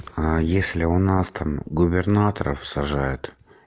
а если у нас там губернаторов сажают